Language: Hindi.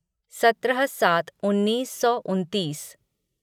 सत्रह सात उन्नीस सौ उन्तीस